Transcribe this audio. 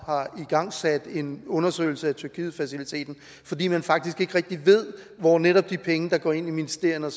har igangsat en undersøgelse af tyrkietfaciliteten fordi man faktisk ikke rigtig ved hvor netop de penge der går ind i ministerierne